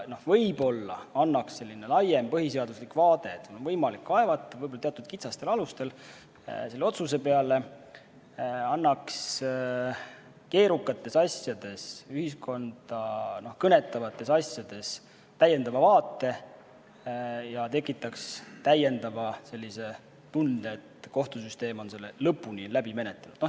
Võib-olla annaks selline laiem põhiseaduslik vaade – et otsuse peale on seal on võimalik edasi kaevata, võib-olla teatud kitsastel alustel – keerukates asjades, ühiskonda kõnetavates asjades täiendava vaate ja tekitaks tunde, et kohtusüsteem on asja lõpuni menetlenud.